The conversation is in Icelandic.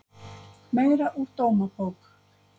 Meira úr Dómabók